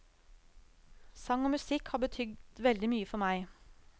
Sang og musikk har betydd veldig mye for meg.